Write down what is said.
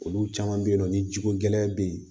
Olu caman bɛ yen nɔ ni jiko gɛlɛya bɛ yen